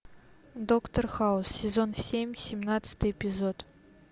доктор хаус сезон семь семнадцатый эпизод